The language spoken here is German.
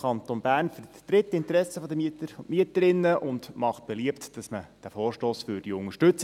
Der MV Bern vertritt die Interessen der Mieter und Mieterinnen und macht beliebt, dass man diesen Vorstoss unterstützt.